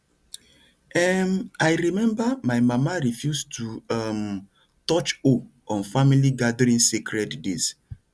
um i remember my mama refuse to um touch hoe on family gathering sacred days